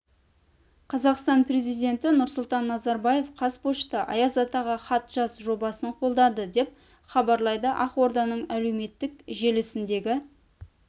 қазақстан президенті нұрсұлтан назарбаев қазпошта аяз атаға хат жаз жобасын қолдады деп хабарлайды ақорданың әлеуметтік желісіндегі